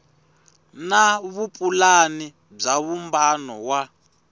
na vupulani bya vumbano wa